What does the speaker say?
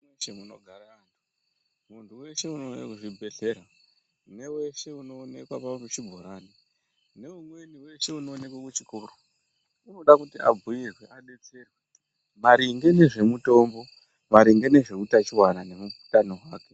Ti munogara anhu muntu weshe unouye kuchibhedhlera neweshe unoonekwa pachibhorani neumweni weshe unoonekwe kuchikoro unode kuti abhiirwe adetserwe maringe nezvemutombo maringe nezveutachiwana neutano hwake .